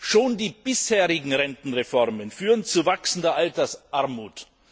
Schon die bisherigen Rentenreformen führen zu wachsender Altersarmut.